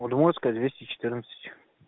удмуртская двести четырнадцать